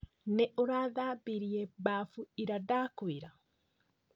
Nĩ ũrathambirie bafu ira ndakwĩra?